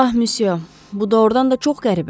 Ah, Müsyo, bu doğrudan da çox qəribədir.